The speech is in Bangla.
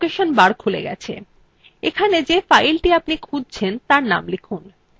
এখানে যে filethe আপনি খুঁজছেন তার name লিখুন